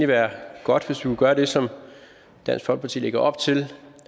være godt hvis vi kunne gøre det som dansk folkeparti lægger op til